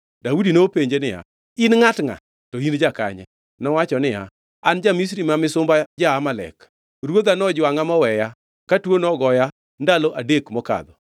Daudi nopenje niya, “In ngʼat ngʼa? To in jakanye?” Nowacho niya, “An ja-Misri ma misumba ja-Amalek. Ruodha nojwangʼa moweya, ka tuo nogoya ndalo adek mokadho.